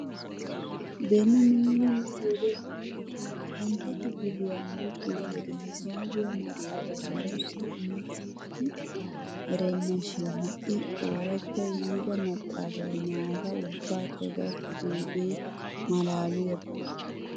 Beni nuuni nu wode usuppuntta kifiliyan luxiyoo wode hisaaabiya maxaafay nuussi imetti erenna shin ha'i ooratta yiida maxaafay naata ubbaakka gakkidoogee malaaliyaaba.